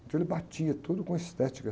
Então ele batia tudo com estética